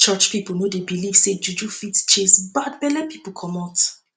church pipu no dey beliv sey juju fit chase bad belle pipu comot